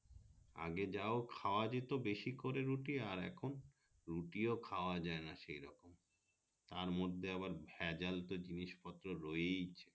আগে যাও খোওয়া যেত বেসি করে রুটি আর এখই রুটি ও খাওয়া যায়না সেই রকম তার মধ্যে ভেজাল তো জিনিস পত্র রয়েইছে